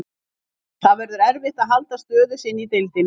Það verður erfitt að halda stöðu sinni í deildinni.